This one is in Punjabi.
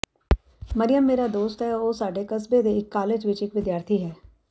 ਮਰਿਯਮ ਮੇਰੇ ਦੋਸਤ ਹੈ ਉਹ ਸਾਡੇ ਕਸਬੇ ਦੇ ਇਕ ਕਾਲਜ ਵਿਚ ਇਕ ਵਿਦਿਆਰਥੀ ਹੈ